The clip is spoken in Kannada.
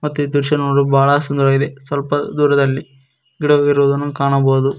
ಮತ್ತೆ ಈ ದೃಶ್ಯ ನೋಡಲು ಬಹಳ ಸಂದರವಾಗಿದೆ ಸ್ವಲ್ಪ ದೂರದಲ್ಲಿ ಗಿಡವಿರುವುದನ್ನು ಕಾಣಬಹುದು.